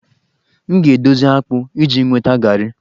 M ga-edozi akpụ iji nweta garri